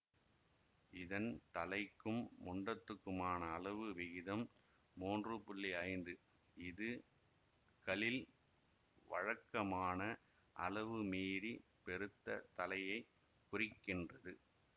இதன் தலைக்கும் முண்டத்துக்குமான அளவு விகிதம் மூன்று புள்ளி ஐந்து இது களில் வழக்கமான அளவுமீறிப் பெருத்த தலையைக் குறிக்கின்றது